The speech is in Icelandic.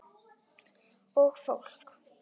Og fólk!